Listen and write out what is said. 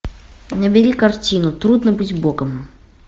набери картину трудно быть богом